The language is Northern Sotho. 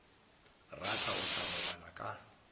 rata o tla robala ka